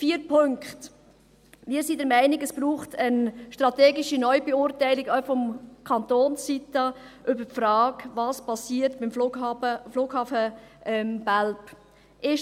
Vier Punkte: Wir sind der Meinung, dass es, auch seitens des Kantons, eine strategische Neubeurteilung braucht, zur Frage, was mit dem Flughafen Belp passiert.